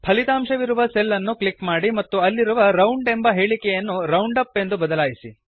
ಫಲಿತಾಂಶವಿರುವ cell ಅನ್ನು click ಮಾಡಿ ಮತ್ತು ಅಲ್ಲಿರುವ ರೌಂಡ್ ಎಂಬ ಹೇಳಿಕೆಯನ್ನು ರೌಂಡಪ್ ಎಂದು ಬದಲಾಯಿಸಿ